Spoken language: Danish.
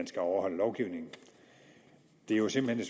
skal overholdes det er jo simpelt hen